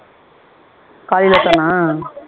காலைலதானா